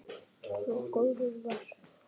Svo góður var hann.